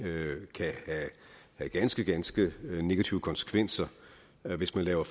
kan have ganske ganske negative konsekvenser hvis man laver